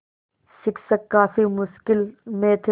शिक्षक काफ़ी मुश्किल में थे